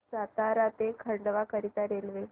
सातारा ते खंडवा करीता रेल्वे